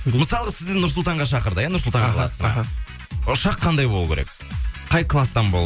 мысалға сізді нұр сұлтанға шақырды иә нұр сұлтан қаласына аха ұшақ қандай болу керек қай класстан